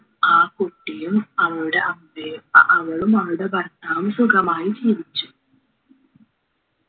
ആ കുട്ടിയും അവളുടെ അമ്മയ് അഹ് അവളും അവളുടെ ഭർത്താവും സുഗമായി ജീവിച്ചു